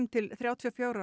til þrjátíu og fjögur